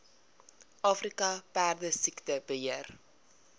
afrika perdesiekte beheer